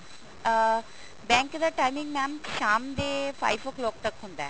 ਅਹ bank ਦਾ timing mam ਸ਼ਾਮ ਦੇ five o clock ਤੱਕ ਹੁੰਦਾ ਹੈ